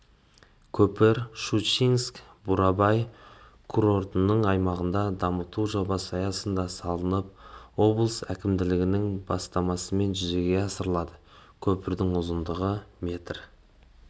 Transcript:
көпір щучинск-бурабай курорттық аймағын дамыту жобасы аясында салынып облыс әкімдігінің бастамасымен жүзеге асырылады көпірдің ұзындығы метр